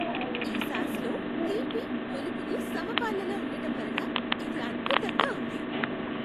ఈ సాస్లో తీపి, పులుపులు సమపాళ్ళలో ఉండటం వలన ఇది అద్భుతంగా ఉంది.